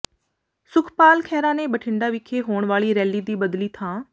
ਸੁਖਪਾਲ ਖਹਿਰਾ ਨੇ ਬਠਿੰਡਾ ਵਿਖੇ ਹੋਣ ਵਾਲੀ ਰੈਲੀ ਦੀ ਬਦਲੀ ਥਾਂ